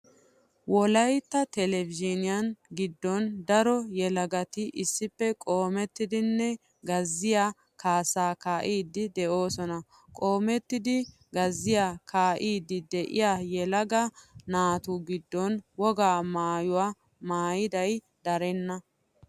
Wolaytta televizhiiniyaa giddon daro yelagati issippe qoomettidinne gazziyaa kaassaa kaa"iiddi de"oosona. Qoomettidi gazziyaa kaa"iiddi de'iyaa yelaga naatu giddon wogaa maayuwaa maayiday darenna.